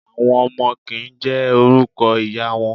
Àwọn ọmọ kì ń jẹ́ orúkọ ìyá wọn.